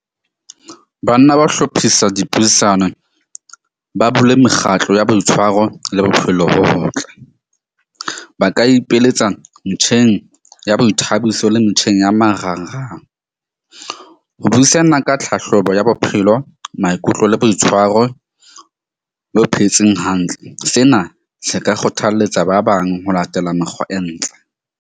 Banna ba hlophisa dipuisano, ba bule mekgatlo ya boitshwaro le bophelo bo botle. Ba ka ipeletsa metjheng ya boithabiso le metjheng ya marangrang. Ho buisana ka tlhahlobo ya bophelo, maikutlo le boitshwaro le ho phetseng hantle. Sena se ka kgothalletsa ba bang ho latela mekgwa e ntle.